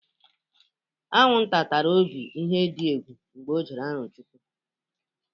Añụnta tara Obi ihe dị egwu mgbe ọ jere Arọchụkwụ.